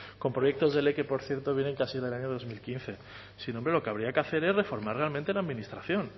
con proyectos de ley que por cierto vienen casi del año dos mil quince sino hombre lo que habría que hacer es reformar realmente la administración